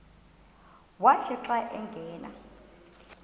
wathi xa angena